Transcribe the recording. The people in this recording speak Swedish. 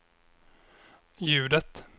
ljudet